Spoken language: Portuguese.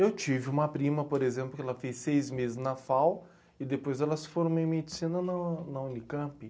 Eu tive uma prima, por exemplo, que ela fez seis meses na fau e depois ela se formou em medicina na na Unicamp.